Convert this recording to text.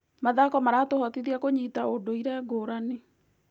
Mathako maratũhotithia kũnyita ũndũire ngũrani.